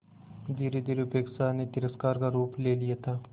धीरेधीरे उपेक्षा ने तिरस्कार का रूप ले लिया था